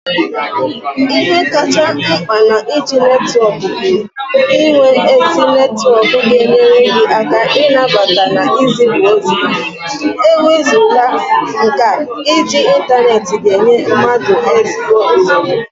Ihe kacha nkpa na-iji intaneti bu inwe ezi netwok ga-enyere gi aka inabata na izipu ozi, ewezugha nke a, iji intaneti ga-enye mmadu ezigbo nsogbu.